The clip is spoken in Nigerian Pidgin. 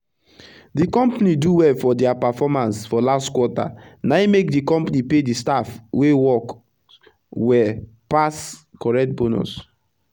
d compani do well for dia performance for last quarter na e make d company pay d staff wey works well pass correct bonus